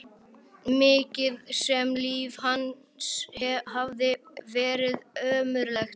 Mikið sem líf hans hafði verið ömurlegt.